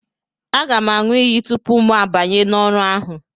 Aga m aṅụ iyi tupu mụ abanye n'ọrụ ahụ